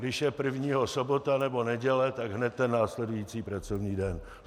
Když je prvního sobota nebo neděle, tak hned ten následující pracovní den.